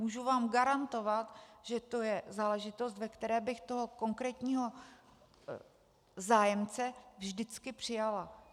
Můžu vám garantovat, že to je záležitost, ve které bych toho konkrétního zájemce vždycky přijala.